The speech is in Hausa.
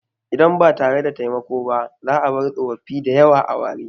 Idan ba tare da taimako ba, za a bar tsofaffi da yawa a ware.